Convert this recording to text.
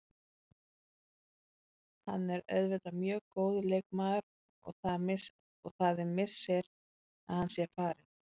Hann er auðvitað mjög góður leikmaður og það er missir að hann sé farinn.